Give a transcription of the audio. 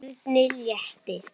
Erni létti.